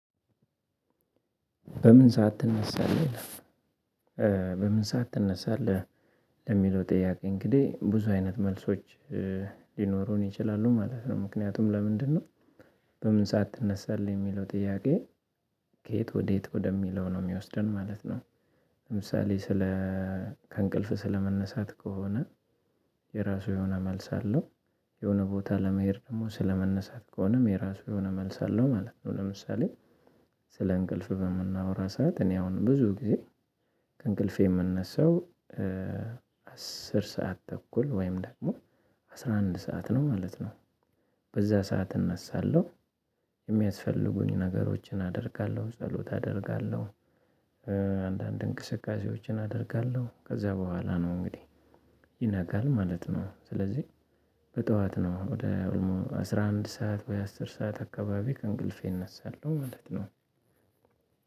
በምን ሰዓት ትነሳለህ? ለምለው ጥያቄ እንግዲህ ብዙ አይነት መልሶች ሊኖሩን ይችላሉ ማለት ነው። ምክንያቱም ለምንድነው? በምን ሰዓት ትነሳለህ የሚለው ጥያቄ ከየት ወዴት ወደሚለው ነው የሚወስደን ማለት ነው። ለምሳሌ ስለ ከእንቅልፍ ስለመነሳት ከሆነ የራሱ የሆነ መልስ አለው። የሆነ ቦታ ለመሄድ ደግሞ ስለመነሳት ከሆነም የራሱ የሆነ መልስ አለው ማለት ነው። ለምሳሌ ስለ እንቅልፍ በምናወራ ሰዓት እኔ አሁን ብዙ ጊዜ ከእንቅልፌ የምነሳው አስር ሰዓት ተኩል ወይም ደግሞ አስራ አንድ ሰዓት ነው ማለት ነው። በዛ ሰዓት እነሳለሁ። የሚያስፈልጉኝ ነገሮችን አደርጋለሁ፣ ጸሎት አደርጋለሁ። አንዳንድ እንቅስቃሴዎችን አደርጋለሁ፣ ከዛ በኋላ ነው እንግዲህ ይነጋል ማለት ነው። ስለዚህ በጠዋት ነው ወደ አስራ አንድ ሰዓት ወይ አስር ሰዓት አካባቢ ከእንቅልፌ እነሳለሁ ማለት ነው።